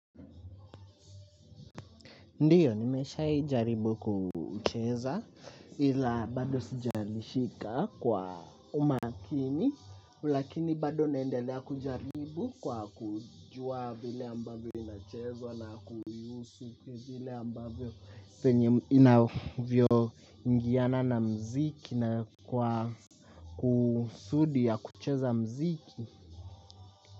Ndiyo, nimeshaijaribu kucheza ila bado sijarishika kwa umakini lakini bado naendelea kujaribu kwa kujua vile ambavyo inachezwa na kuihusu vile ambavyo inavyo ingiana na mziki na kwa kusudi ya kucheza mziki.